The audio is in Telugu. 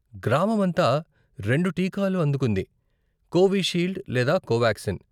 గ్రామమంతా రెండు టీకాలు అందుకుంది, కోవిషీల్డ్ లేదా కోవాక్సిన్.